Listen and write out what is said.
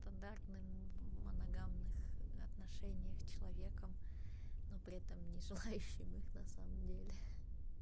стандартным в моногамных отношениях человеком но при этом не желающим их на самом деле